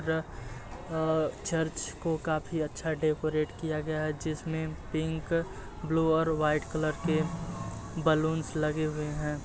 अ church को काफी अच्छा डेकोरेट किया गया है | जिसमें पिंक ब्लू और व्हाइट कलर के बैलूंस लगे हुए हैं ।